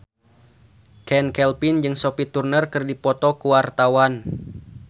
Chand Kelvin jeung Sophie Turner keur dipoto ku wartawan